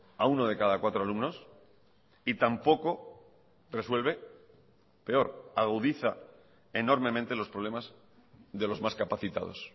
a uno de cada cuatro alumnos y tampoco resuelve peor agudiza enormemente los problemas de los más capacitados